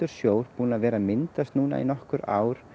sjór búinn að vera að myndast núna í nokkur ár